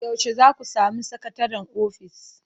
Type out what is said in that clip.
Yaushe za ku sami sakataren ofis?